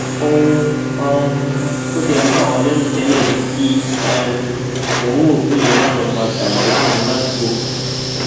ohun um tó tiẹ ń bà wá lẹrù tẹlẹ ni kí um oòrùn òkú yẹn má lọọ máa dààyàn láàmú ládùúgbò